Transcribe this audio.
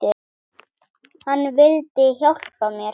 Hann vildi hjálpa mér.